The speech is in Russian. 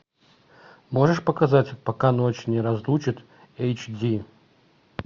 можешь показать пока ночь не разлучит эйч ди